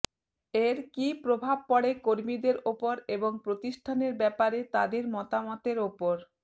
এর কী প্রভাব পড়ে কর্মীদের ওপর এবং প্রতিষ্ঠানের ব্যাপারে তাদের মতামতের ওপর